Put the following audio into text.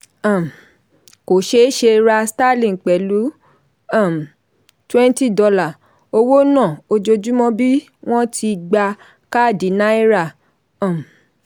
um kò ṣeéṣe ra starlink pẹ̀lú um $20 owó náà ojoojúmọ́ bí wọ́n ti gba káàdì náírà. um